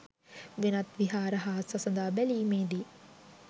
වෙනත් විහාර හා සසඳා බැලීමේදී